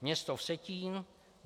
Město Vsetín: